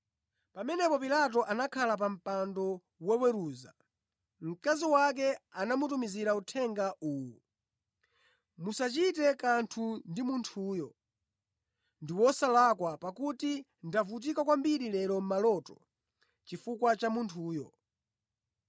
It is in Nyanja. Pamene Pilato anakhala pa mpando woweruza, mkazi wake anamutumizira uthenga uwu, “Musachite kanthu ndi munthuyo, ndi wosalakwa pakuti ndavutika kwambiri lero mʼmaloto chifukwa cha munthuyo.”